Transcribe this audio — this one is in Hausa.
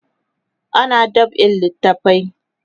ana dab'in littafai